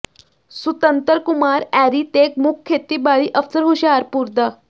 ਸੁਤੰਤਰ ਕੁਮਾਰ ਐਰੀ ਤੇ ਮੁੱਖ ਖੇਤੀਬਾੜੀ ਅਫਸਰ ਹੁਸ਼ਿਆਰਪੁਰ ਡਾ